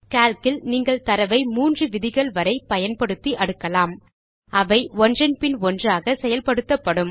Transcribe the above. சிஏஎல் இல் நீங்கள் தரவை மூன்று விதிகள் வரை பயன்படுத்தி அடுக்கலாம் அவை ஒன்றன் பின் ஒன்றாக செயல் படுத்தப்படும்